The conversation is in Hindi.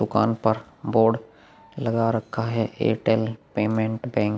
दुकान के ऊपर बोर्ड लगा रखा है एयरटेल पेमेंट बैंक --